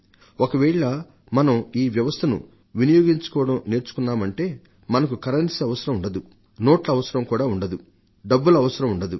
ఒకవేళ మనం ఈ వ్యవస్థను వినియోగించుకోవడం నేర్చుకున్నామంటే మనకు కరెన్సీ అవసరం ఉండదు నోట్ల అవసరం ఉండదు డబ్బుల అవసరం ఉండదు